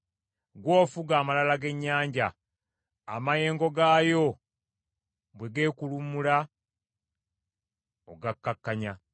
Ggwe ofuga amalala g’ennyanja; amayengo gaayo bwe geekuluumulula ogakkakkanya.